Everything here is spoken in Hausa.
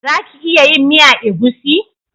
Za ki iya yin miya egusi?